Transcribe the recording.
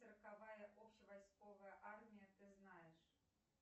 сороковая общевойсковая армия ты знаешь